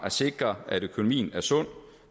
at sikre at økonomien er sund